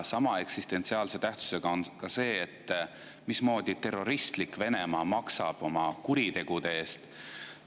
Sama eksistentsiaalse tähtsusega on ka see, mismoodi terroristlik Venemaa maksab oma kuritegude eest.